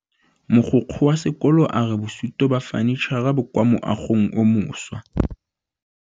Mogokgo wa sekolo a re bosutô ba fanitšhara bo kwa moagong o mošwa.